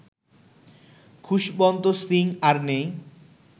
খুশবন্ত সিং আর নেই